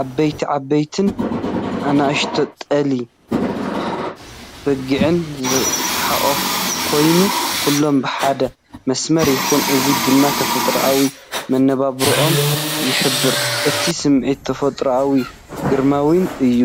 ዓበይቲ ዓበይትን ንኣሽቱ ጤለ-በጊዕን ዝሓቖፈ ኮይኑ፡ ኩሎም ብሓደ መስመር ይኸዱ። እዚ ድማ ተፈጥሮኣዊ መነባብሮኦም ይሕብር። እቲ ስምዒት ተፈጥሮኣዊ፡ ግርማዊን እዩ።